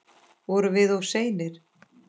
Vorum við of seinir?